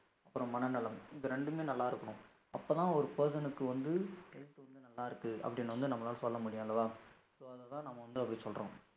அப்புறம் மனநலம், இந்த இரண்டுமே நல்லா இருக்கணும். அப்பதான், ஒரு person க்கு வந்து health வந்து நல்லா இருக்கு, அப்படின்னு வந்து நம்மளால சொல்ல முடியும், அல்லவா? so அதுதான், நம்ம வந்து, அப்படி சொல்றோம்.